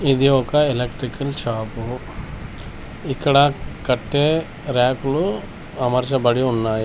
ఇది ఒక electrical shop ఇక్కడ కట్టే ర్యాకులు అమర్చబడి ఉన్నాయి.